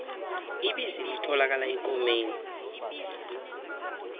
ibisi litholakala ekomeni